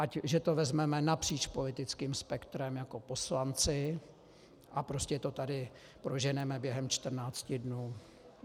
Že to vezmeme napříč politickým spektrem jako poslanci a prostě to tady proženeme během 14 dnů.